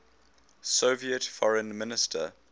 soviet foreign minister